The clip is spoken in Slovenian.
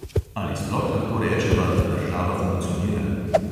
Ali sploh lahko rečeva, da država funkcionira?